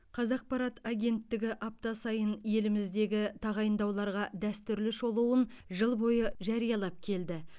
қазақпарат агенттігі апта сайын еліміздегі тағайындауларға дәстүрлі шолуын жыл бойы жариялап келді